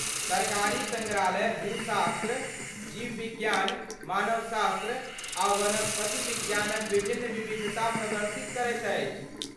सरकारी सङ्ग्रहालय भूशास्त्र, जीव विज्ञान, मानव शास्त्र आ वनस्पति विज्ञानक विभिन्न विविधता प्रदर्शित करैत अछि।